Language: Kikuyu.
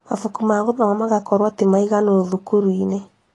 Mabuku ma gũthoma magakorwo ti maiganu cukuru -inĩ